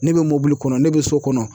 Ne bɛ mobili kɔnɔ ne bɛ so kɔnɔ